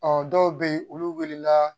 Ɔ dɔw bɛ yen olu wilila